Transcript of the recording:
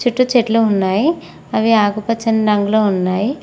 చుట్టూ చెట్లు ఉన్నాయి అవి ఆకుపచ్చని రంగులో ఉన్నాయి.